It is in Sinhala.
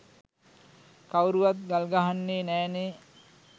කවුරුවත් ගල් ගහන්නේ නෑනේ.